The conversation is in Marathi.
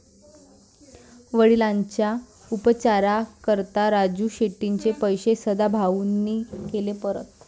वडिलांच्या उपचाराकरता राजू शेट्टींचे पैसे सदाभाऊंनी केले परत!